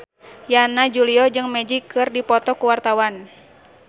Yana Julio jeung Magic keur dipoto ku wartawan